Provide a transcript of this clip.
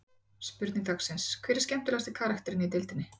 Spurning dagsins: Hver er skemmtilegasti karakterinn í deildinni?